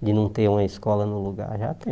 de não ter uma escola no lugar, já tem.